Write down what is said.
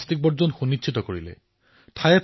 প্লাষ্টিকমুক্ত স্থানৰ নিশ্চিতি প্ৰদান কৰিলে